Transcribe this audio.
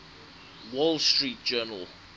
wall street journal